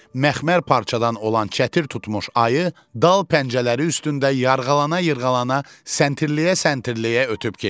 Məxmər parçadan olan çətir tutmuş ayı dal pəncələri üstündə yırğalana-yırğalana, səntirliyə-səntirliyə ötüb keçdi.